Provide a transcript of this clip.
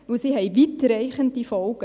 Denn sie haben weitreichende Folgen.